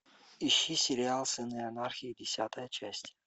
ищи сериал сыны анархии десятая часть